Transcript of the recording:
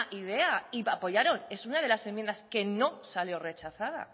idea y apoyaron es una de las enmiendas que no salió rechazada